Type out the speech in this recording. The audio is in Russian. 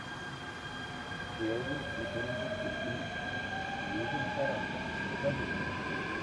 элвин и бурундуки три сьюзен сарандон покажи мне